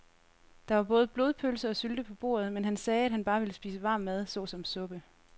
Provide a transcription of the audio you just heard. Der var både blodpølse og sylte på bordet, men han sagde, at han bare ville spise varm mad såsom suppe.